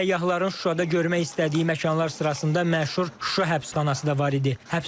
Səyyahların Şuşada görmək istədiyi məkanlar sırasında məşhur Şuşa həbsxanası da var idi.